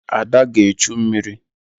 Ada ga-echu mmiri